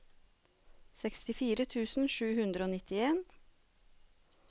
sekstifire tusen sju hundre og nittien